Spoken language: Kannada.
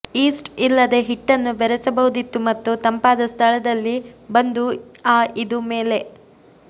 ಯೀಸ್ಟ್ ಇಲ್ಲದೆ ಹಿಟ್ಟನ್ನು ಬೆರೆಸಬಹುದಿತ್ತು ಮತ್ತು ತಂಪಾದ ಸ್ಥಳದಲ್ಲಿ ಬಂದು ಆ ಇದು ಮೇಲೆ